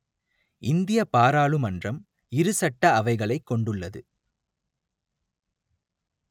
இந்திய பாராளுமன்றம் இரு சட்ட அவைகளைக் கொண்டுள்ளது